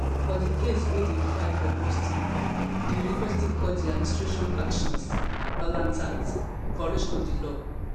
for di case wey dem file for boston di university call di administration actions blatant violation of di law